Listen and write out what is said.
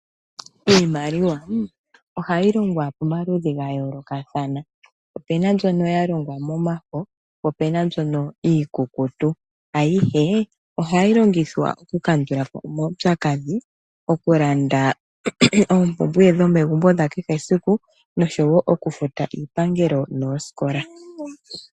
Iimaliwa ohayi longwa pamaludhi ga yoolokathana. Opena mbyono ya longwa mo mafo, po opuna mbyono iikukutu. Ayihe ohayi longithwa oku kandulapo omaupyakadhi, okulanda oompumbwe dho megumbo dha kehe esiku no showo oku futa iipangelo noosikola.